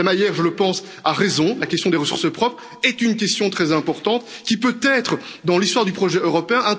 Mme Hayer, je le pense, a raison la question des ressources propres est une question très importante qui peut être un tournant dans l'histoire du projet européen.